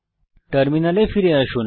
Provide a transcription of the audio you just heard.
টার্মিনালে ফিরে আসুন